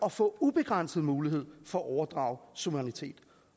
at få ubegrænset mulighed for at overdrage suverænitet